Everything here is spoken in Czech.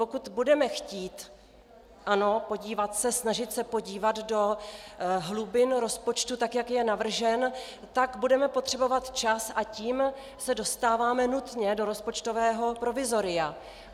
Pokud budeme chtít, ano, podívat se, snažit se podívat do hlubin rozpočtu tak, jak je navržen, tak budeme potřebovat čas, a tím se dostáváme nutně do rozpočtového provizoria.